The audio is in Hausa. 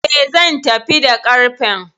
E, zan tafi da ƙarfen.